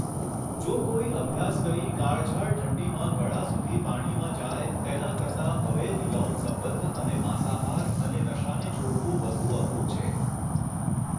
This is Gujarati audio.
જો કોઈ અભ્યાસ કરી કાળઝાળ ઠંડીમાં ગળા સુધી પાણીમાં જાય, તેના કરતાં અવૈધ યૌન સંબંધ અને માંસાહાર અને નશાને છોડવું વધુ અઘરું છે?